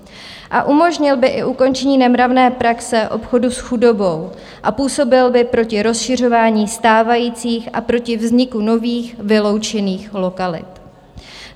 A umožnil by i ukončení nemravné praxe obchodu s chudobou a působil by proti rozšiřování stávajících a proti vzniku nových vyloučených lokalit.